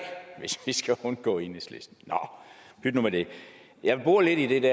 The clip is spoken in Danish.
hvis vi skal undgå enhedslisten nå pyt nu med det jeg vil bore lidt i det